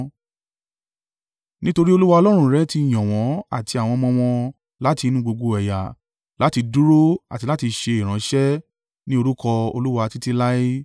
Nítorí Olúwa Ọlọ́run rẹ ti yàn wọ́n àti àwọn ọmọ wọn láti inú gbogbo ẹ̀yà láti dúró àti láti ṣe ìránṣẹ́ ní orúkọ Olúwa títí láé.